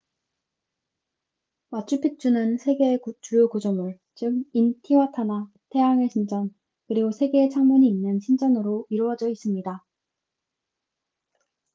마추픽추는 세 개의 주요 구조물 즉 인티와타나 태양의 신전 그리고 3개의 창문이 있는 신전으로 이루어져 있습니다